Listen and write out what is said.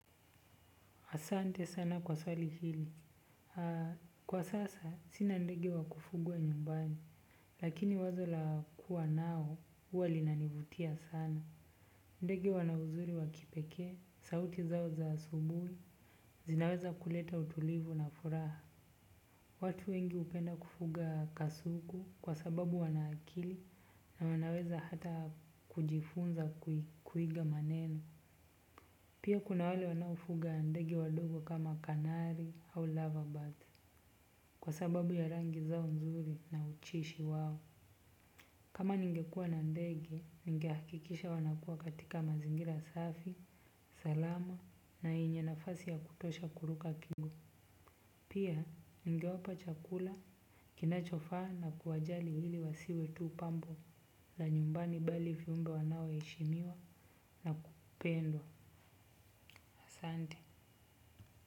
Asante sana kwa swali hili. Kwa sasa, sina ndege wa kufugwa nyumbani, lakini wazo la kuwa nao huwa linanivutia sana. Ndegi wana uzuri wa kipekee, sauti zao za asubuhi zinaweza kuleta utulivu na furaha. Watu wengi hupenda kufuga kasuku kwa sababu wana akili na wanaweza hata kujifunza kuiga maneno. Pia kuna wale wanafuga ya ndegi wadogo kama kanari au lava bath. Kwa sababu ya rangi zao nzuri na uchishi wao kama ningekua na ndege, ningahakikisha wanakua katika mazingira safi, salama na enye nafasi ya kutosha kuruka kigo. Pia ningewapa chakula, kinachofaa na kuwajali ili wasiwe tu pambo la nyumbani bali viumbe wanaoheshimiwa na kupendwa asante.